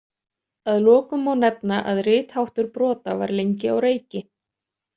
Að lokum má nefna að ritháttur brota var lengi á reiki.